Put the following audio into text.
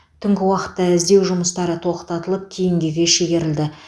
түнгі уақытта іздеу жұмыстары тоқтатылып кейінгіге шегерілді